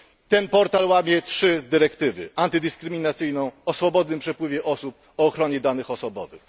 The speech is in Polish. Ten portal łamie trzy dyrektywy antydyskryminacyjną, o swobodnym przepływie osób, o ochronie danych osobowych.